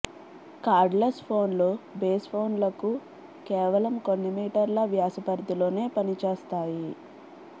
కార్డ్లెస్ఫోన్లు బేస్ఫోన్లకు కేవలం కొన్ని మీటర్ల వ్యాస పరిథిలోనే పని చేస్తాయి